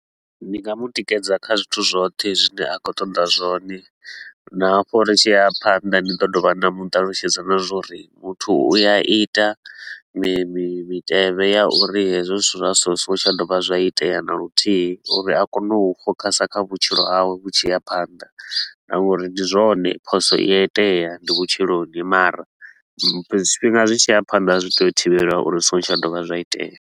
Ndi nga mu tikedza kha zwithu zwoṱhe zwine a khou ṱoḓa zwone, na hafho ri tshi ya phanḓa ndi ḓo dovha na mu ṱalutshedza na zwa uri muthu u ya ita mi mitevhe ya uri hezwo zwithu zwa so zwi so ngo tsha dovha zwa itea na luthihi. Uri a kone u focuser kha vhutshilo hawe vhu tshi ya phanḓa na nga uri ndi zwone phoso i a itea ndi vhutshiloni mara zwifhinga zwi tshi ya phanḓa zwi tea u thivheliwa uri zwi so ngo tsha dovha zwa itea.